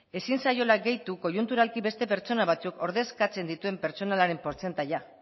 ezin zaiola gehitu koiunturalki beste pertsona batzuk ordezkatzen dituen pertsonala portzentaia